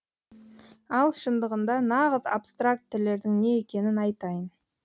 ал шындығында нағыз абстрактілердің не екенін айтайын